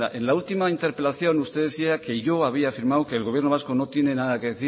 en la última interpelación usted decía que yo había afirmado que el gobierno vasco no tiene nada que